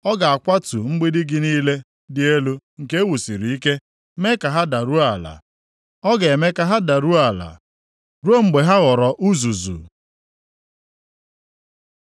Ọ ga-akwatu mgbidi gị niile dị elu nke e wusiri ike, mee ka ha daruo ala, ọ ga-eme ka ha daruo ala, ruo mgbe ha ghọrọ uzuzu.